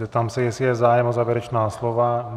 Zeptám se, jestli je zájem o závěrečná slova.